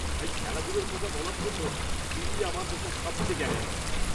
তাই, খেলাধুলোর কথা বলার জন্য তুমিই আমার দেখা সবচেয়ে জ্ঞানী মানুষ।